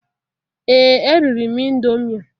Ee eriri m indomie